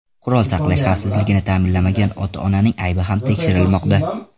Qurol saqlash xavfsizligini ta’minlamagan ota-onaning aybi ham tekshirilmoqda.